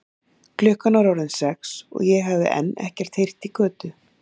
Klukkan var orðin sex og ég hafði enn ekkert heyrt í Kötu.